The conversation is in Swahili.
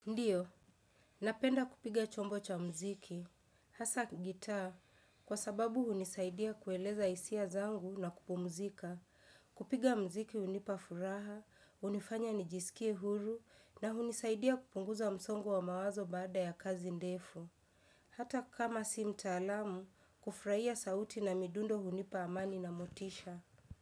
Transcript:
Ndiyo, napenda kupiga chombo cha mziki, hasa gitaa, kwa sababu hunisaidia kueleza hisia zangu na kupumzika, kupiga mziki hunipabfuraha, hunifanya nijisikie huru, na hunisaidia kupunguza msongo wa mawazo baada ya kazi ndefu. Hata kama si mtaalamu, kufraia sauti na midundo hunipa amani na motisha.